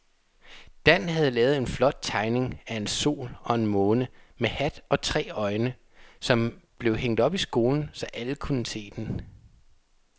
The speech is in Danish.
Dan havde lavet en flot tegning af en sol og en måne med hat og tre øjne, som blev hængt op i skolen, så alle kunne se den.